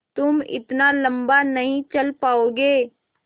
तुम इतना लम्बा नहीं चल पाओगे